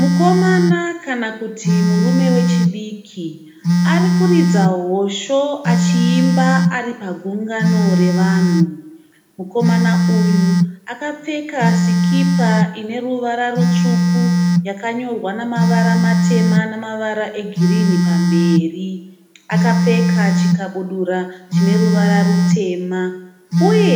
Mukomana kana kuti murume wechidiki ari kuridza hosho achiimba ari pagungano ravanhu. Mukomana uyu akapfeka sikipa ine ruvara rutsvuku yakanyorwa namavara matema namavara egirini pamberi. Akapfeka chikabudura chine ruvara rutema uye